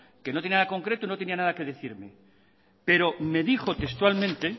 que no tenía nada concreto y que no tenía nada que decirme pero me dijo textualmente